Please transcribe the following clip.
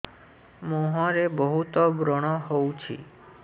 ମୁଁହରେ ବହୁତ ବ୍ରଣ ହଉଛି